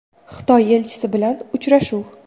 Xitoy elchisi bilan uchrashuv.